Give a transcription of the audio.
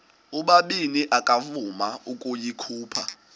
ubabini akavuma ukuyikhupha